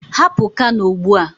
Hapụ Kano ugbu a.